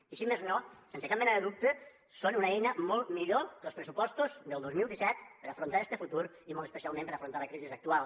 i si més no sense cap mena de dubte són una eina molt millor que els pressupostos del dos mil disset per a afrontar este futur i molt especialment per a afrontar la crisi actual